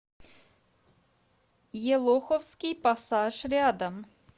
елоховский пассаж рядом